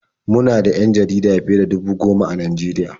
Mu na da 'yan jarida fiye da dubu goma a Najeriya.